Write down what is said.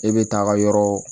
E bɛ taa ka yɔrɔ